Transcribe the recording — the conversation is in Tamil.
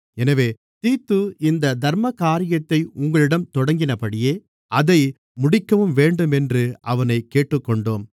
எனவே தீத்து இந்தத் தர்மகாரியத்தை உங்களிடம் தொடங்கினபடியே அதை முடிக்கவும் வேண்டும் என்று அவனைக் கேட்டுக்கொண்டோம்